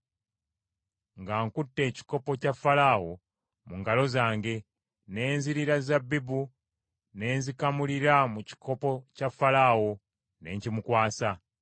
Nga nkute ekikopo kya Falaawo mu ngalo zange, ne nzirira zabbibu ne nzikamulira mu kikopo kya Falaawo, ne nkimukwasa.”